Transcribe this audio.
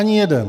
Ani jeden.